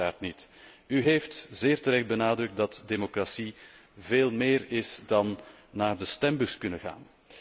En dat kan uiteraard niet. U heeft zeer terecht benadrukt dat democratie veel meer is dan naar de stembus kunnen gaan.